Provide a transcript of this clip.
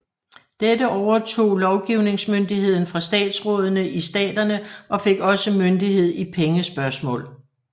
Dette overtog lovgivingsmyndigheden fra statsrådene i staterne og fik også myndighed i pengespørgsmål